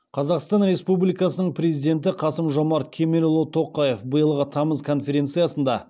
қазақстан республикасының президенті қасым жомарт кемелұлы тоқаев биылғы тамыз конференциясында